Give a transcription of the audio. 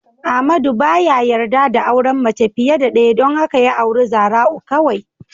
Amadu baya yarda da auren mace fiye da ɗaya don haka ya auri Zara'u kawai.